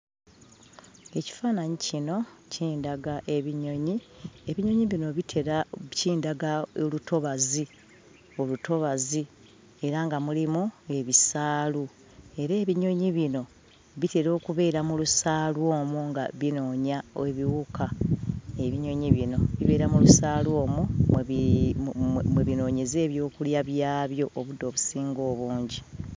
Ekifaananyi kino kindaga ebinyonyi. Ebinyonyi bino bitera kindaga olutobazi olutobazi era nga mulimu ebisaalu. Era ebinyonyi bino bitera okubeera mu lusaalu omwo nga binoonya ebiwuka. Ebinyonyi bino bibeera mu lusaalu omwo mwe bi mwe mwe binoonyeza ebyokulya byabyo obudde obusinga obungi.